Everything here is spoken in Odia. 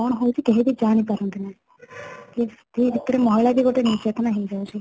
କ'ଣ ହଉଛି କେହି ବି ଜାଣି ପାରନ୍ତିନି ସେଇ ଭିତରେ ମହିଳା ବି ଗୋଟେ ନିର୍ଯାତନା ହେଇ ଯାଉଛି